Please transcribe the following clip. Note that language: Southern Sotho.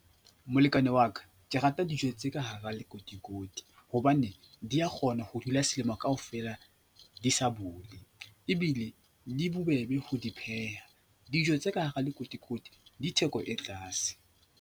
Molekane wa ka, ke rata dijo tse ka hara lekotikoti hobane di a kgona ho dula selemo kaofela di sa bole ebile di bobebe ho di pheha. Dijo tse ka hara lekotikoti di theko e tlaase.